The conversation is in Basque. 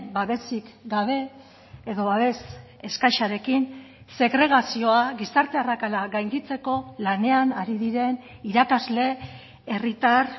babesik gabe edo babes eskasarekin segregazioa gizarte arrakala gainditzeko lanean ari diren irakasle herritar